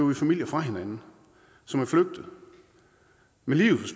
vi familier fra hinanden som er flygtet med livet